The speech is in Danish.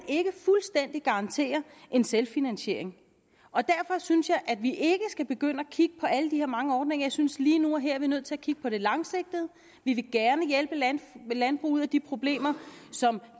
kan garantere en selvfinansiering og derfor synes jeg at vi ikke skal begynde at kigge på alle de her mange ordninger jeg synes lige nu og her er nødt til at kigge på det langsigtede vi vil gerne hjælpe landbruget med de problemer som